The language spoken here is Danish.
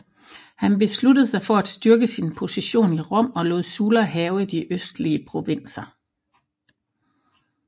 Han besluttede sig for at styrke sin position i Rom og lod Sulla hærge de østlige provinser